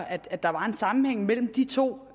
at der er en sammenhæng mellem de to